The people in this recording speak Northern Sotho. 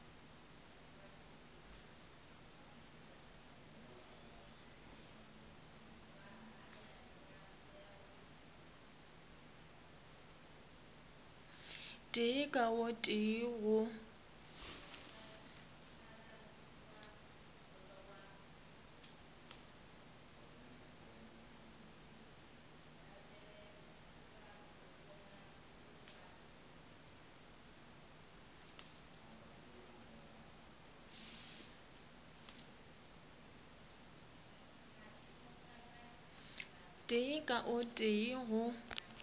tee ka o tee go